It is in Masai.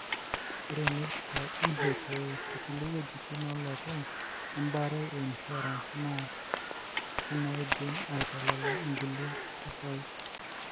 ore"medicare, NHIF," okulie weujitin olopeny embare e insurance na kinadim atalak ingulie pisai.